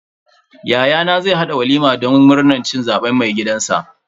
Yayana zai haɗa walima don murnan cin zaben mai gidanshi.